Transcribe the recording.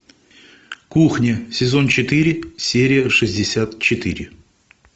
кухня сезон четыре серия шестьдесят четыре